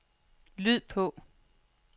lyd på